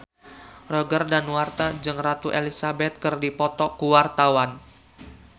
Roger Danuarta jeung Ratu Elizabeth keur dipoto ku wartawan